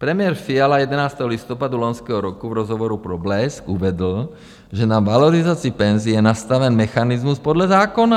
Premiér Fiala 11. listopadu loňského roku v rozhovoru pro Blesk uvedl, že na valorizaci penzí je nastaven mechanismus podle zákona.